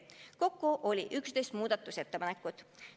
Kokku oli 11 muudatusettepanekut.